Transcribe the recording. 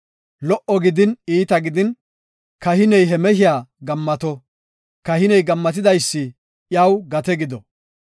Lo77o gidin, iita gidin kahiney he mehiya gammato; kahiney gammatidaysi iyaw gate gido.